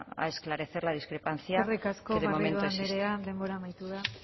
a esclarecer la discrepancia que de momento existe eskerrik asko garrido andrea denbora amaitu da